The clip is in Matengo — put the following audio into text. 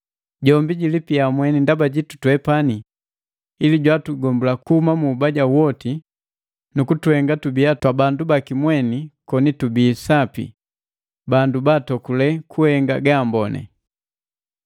Jombi jilipia mweni ndaba jitu twepani ili jwatugombula kuhuma mu ubaja woti nu kutuhenga tubia twabandu baki mweni koni tubii sapi, bandu baatokule kuhenga gaamboni.